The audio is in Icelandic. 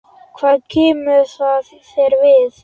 Hvað kemur það þér við?